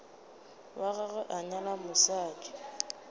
wa gagwe a nyala mosadi